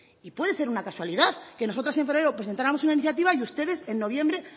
y puede ser una casualidad que nosotras en febrero presentáramos una iniciativa y ustedes en noviembre